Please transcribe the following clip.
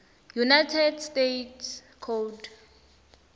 united states code